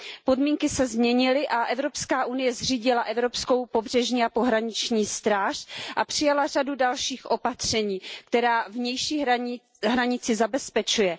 Podmínky se změnily a Evropská unie zřídila evropskou pobřežní a pohraniční stráž a přijala řadu dalších opatření, která vnější hranici zabezpečují.